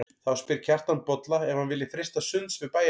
Þá spyr Kjartan Bolla ef hann vilji freista sunds við bæjarmanninn.